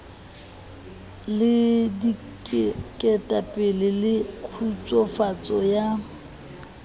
le diketapele le kgutsufatso ya